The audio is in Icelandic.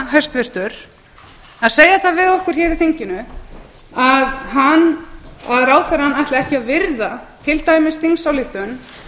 hæstvirtur að segja það við okkur hér í þinginu að ráðherrann ætli ekki að virða til dæmis þingsályktun